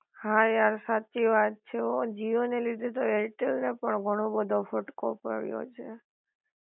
હા યાર સાચી વાત છે હો જીઓ ને લીધે તો એરટેલ ને પણ ઘણો બધો ફટકો પડ્યો છે